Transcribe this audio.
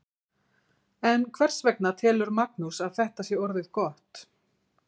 En hvers vegna telur Magnús að þetta sé orðið gott?